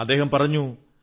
അദ്ദേഹം പറഞ്ഞു